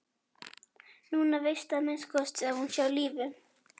Núna veistu að minnsta kosti að hún er á lífi.